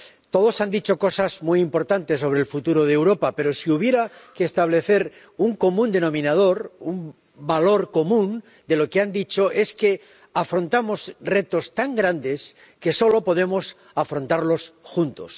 Todos han dicho cosas muy importantes sobre el futuro de Europa, pero si hubiera que establecer un común denominador, un valor común de lo que han dicho es que afrontamos retos tan grandes que solo podemos afrontarlos juntos.